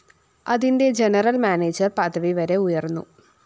അതിന്റെ general manager പദവി വരെ ഉയര്‍ന്നു